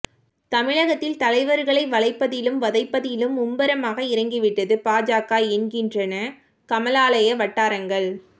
தமிழகத்தில் தலைவர்களை வளைப்பதிலும் வதைப்பதிலும் மும்முரமாக இறங்கிவிட்டது பாஜக என்கின்றன கமலாலய வட்டாரங்கள்